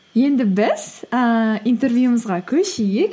енді біз ііі интервьюімізге көшейік